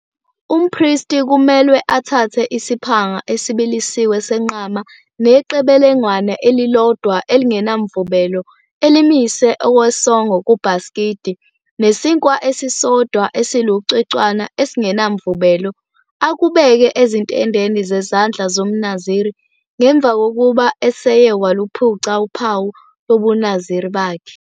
19 Umpristi kumelwe athathe isiphanga esibilisiwe senqama neqebelengwane elilodwa elingenamvubelo elimise okwesongo kubhasikidi, nesinkwa esisodwa esilucwecwana esingenamvubelo, akubeke ezintendeni zezandla zomNaziri ngemva kokuba eseye waluphuca uphawu lobuNaziri bakhe.